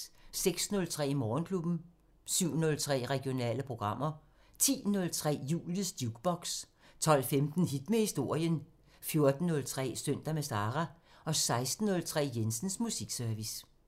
06:03: Morgenklubben 07:03: Regionale programmer 10:03: Julies Jukebox 12:15: Hit med historien 14:03: Søndag med Sara 16:03: Jensens Musikservice